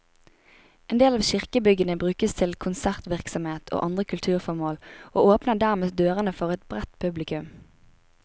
En del av kirkebyggene brukes til konsertvirksomhet og andre kulturformål, og åpner dermed dørene for et bredt publikum.